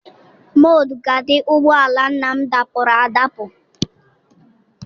Mọd gaadi ụgbọala nna m dapuru adapu.